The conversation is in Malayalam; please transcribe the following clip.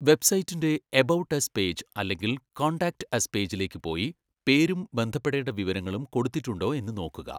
വെബ്സൈറ്റിന്റെ 'എബൌട്ട് അസ്' പേജ് അല്ലെങ്കിൽ 'കോൺടാക്റ്റ് അസ്' പേജിലേക്ക് പോയി പേരും ബന്ധപ്പെടേണ്ട വിവരങ്ങളും കൊടുത്തിട്ടുണ്ടോ എന്ന് നോക്കുക.